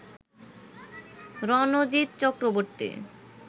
Ranjit Chakraborty